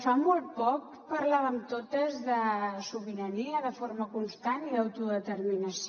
fa molt poc parlàvem totes de sobirania de forma constant i d’autodeterminació